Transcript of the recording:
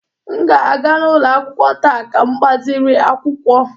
M ga-aga n'ụlọ akwụkwọ taa ka m gbaziri akwụkwọ